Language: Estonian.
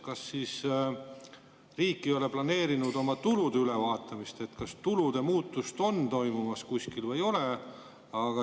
Kas siis riik ei ole planeerinud oma tulude ülevaatamist, et kas tulude muutust on toimumas kuskil või ei ole?